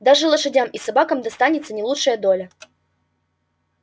даже лошадям и собакам достаётся не лучшая доля